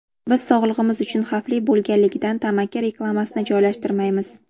Biz sog‘lig‘imiz uchun xavfli bo‘lganligidan tamaki reklamasini joylashtirmaymiz.